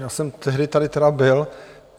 Já jsem tehdy tady tedy byl.